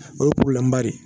O ye de ye